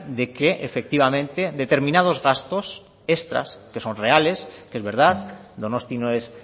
de que efectivamente determinados gastos extras que son reales que es verdad donostia no es